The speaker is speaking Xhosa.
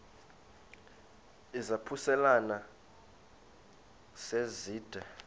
izaphuselana se zide